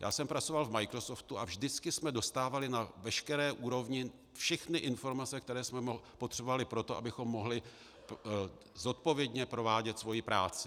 Já jsem pracoval v Microsoftu a vždycky jsme dostávali na veškeré úrovni všechny informace, které jsme potřebovali pro to, abychom mohli zodpovědně provádět svoji práci.